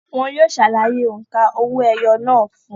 Wọn yóò ṣàlàyé òǹkà owó-ẹyọ náà fún ùn